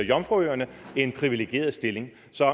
jomfruøerne en privilegeret stilling